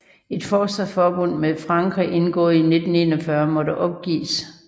Et forsvarsforbund med Frankrig indgået i 1541 måtte opgives